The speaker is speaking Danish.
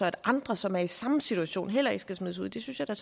at andre som er i samme situation heller ikke skal smides ud det synes jeg